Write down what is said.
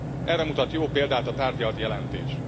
Erre mutat jó példát a tárgyalt jelentés.